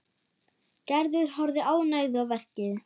Gerður horfði ánægð á verkið.